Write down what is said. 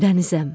Dənizəm.